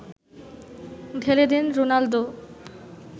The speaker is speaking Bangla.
ঢেলে দেন রোনালদো